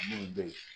Minnu bɛ yen